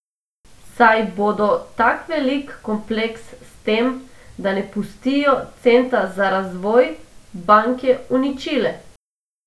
Saj bodo tak velik kompleks s tem, da ne pustijo centa za razvoj, banke uničile!